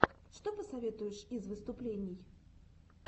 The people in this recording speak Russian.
что посоветуешь из выступлений